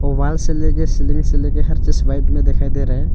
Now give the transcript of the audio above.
दीवाल से ले के सीलिंग से ले के हर चीज व्हाइट में दिखाई दे रहा है।